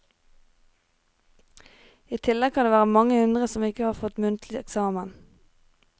I tillegg kan det være mange hundre som ikke får tatt muntlig eksamen.